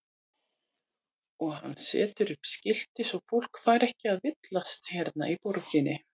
Og hann setur upp skilti svo fólk fari ekki að villast hérna í borginni.